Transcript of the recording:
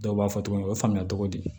Dɔw b'a fɔ togo min u ye faamuya cogo di